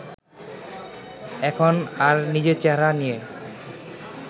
এখন আর নিজের চেহারা নিয়ে